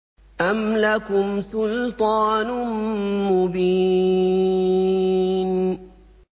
أَمْ لَكُمْ سُلْطَانٌ مُّبِينٌ